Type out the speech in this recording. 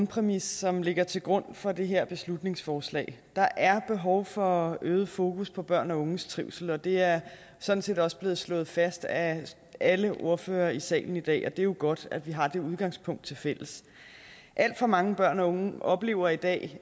præmis som ligger til grund for det her beslutningsforslag der er behov for øget fokus på børn og unges trivsel og det er sådan set også blevet slået fast af alle ordførere i salen i dag og det er jo godt at vi har det udgangspunkt tilfælles alt for mange børn og unge oplever i dag